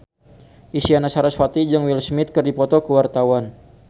Isyana Sarasvati jeung Will Smith keur dipoto ku wartawan